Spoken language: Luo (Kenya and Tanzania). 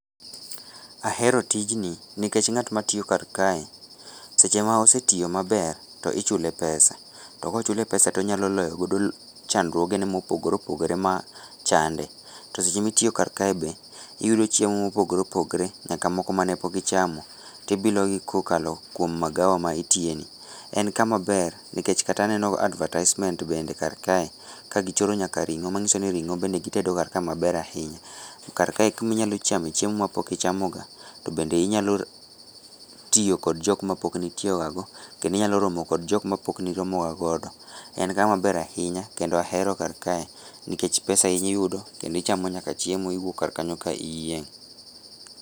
Ahero tijni. Nikech ngát ma tiyo kar kae seche ma osetiyo maber to ichule pesa. To kochule pesa to onyalo loyo godo chandruoge ne mopogore opogore ma chande. To seche ma itiyo kar kae be, iyudo chiemo ma opogore opogore, nyaka moko mane pok ichamo, to ibilo gi kokalo kuom magawa ma itiyeni. To en kama ber, nikech kata aneno advertisment bende kar kae, kagichoro nyaka ringó. Ma nyiso ni ringó be gitedo kar kae maber ahinya. Kar kae en kuma inyalo chamo chiemo ma pok ichamoga. To bende inyao tiyo kod jok ma pokne itiyoga go, kendo inyalo romo kod jok ma pok niromo ga godo. En kama ber ahinya, kendo ahero kar kae, nikech pesa iyudo kendo ichamo nyaka chiemo iwuok kar kanyo ka iyieng'.